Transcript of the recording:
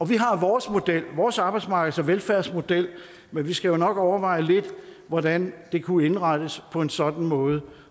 vi har vores model vores arbejdsmarkeds og velfærdsmodel men vi skal jo nok overveje lidt hvordan det kunne indrettes på en sådan måde